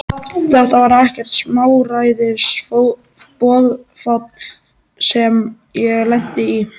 Þetta var ekkert smáræðis boðafall sem ég lenti í!